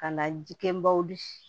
Ka na ji kɛ baw